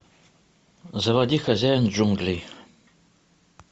заводи хозяин джунглей